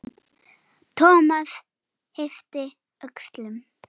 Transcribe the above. Thomas yppti öxlum.